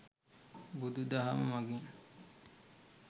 බුදුදහම මගින්